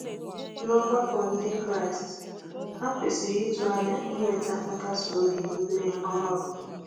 N'ọgbakọ Ndị Kraịst, ha kwesịrị ịtụ anya inweta nkasi obi na ume ọhụrụ.